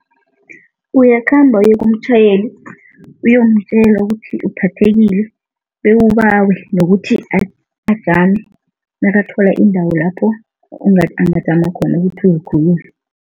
Uyakhamba uye kumtjhayeli, uyomtjela ukuthi uphathekile bewubawe nokuthi ajame nakathola iindawo lapho angajama khona ukuthi uzikhulule.